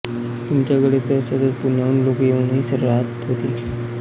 तुमच्याकडे तर सतत पुण्याहून लोकं येऊन राहत होते